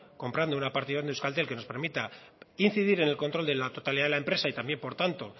comprando una participación de euskaltel que nos permita incidir en el control de la totalidad de la empresa y también por tanto